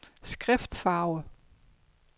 skriftfarve